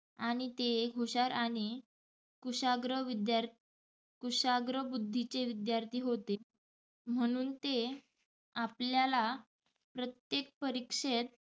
आणि ते एक हुशार आणि कुशाग्र विद्ययार कुशाग्र बुध्दीचे विद्यार्थी होते म्हणुन ते आपल्या प्रत्येक परिक्षेत